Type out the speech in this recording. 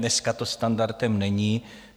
Dnes to standardem není.